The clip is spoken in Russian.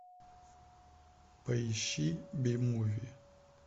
поищи би муви